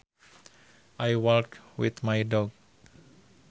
I walked with my dog